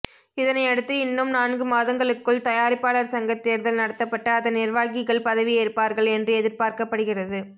இதனை அடுத்து இன்னும் நான்கு மாதங்களுக்குள் தயாரிப்பாளர் சங்க தேர்தல் நடத்தப்பட்டு அதன் நிர்வாகிகள் பதவி ஏற்பார்கள் என்று எதிர்பார்க்கப்படுகிறது